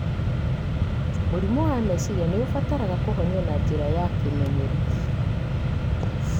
Mũrimũ wa meciria nĩ ũbataraga kũhonio na njĩra ya kĩmenyeru..